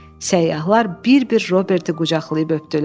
Səyyahlar bir-bir Robert qucaqlayıb öpdülər.